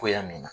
Togoya min na